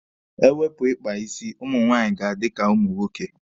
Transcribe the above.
E wepụ ikpa isi, ụmụ nwaanyị ga-adi ka ụmụ nwoke.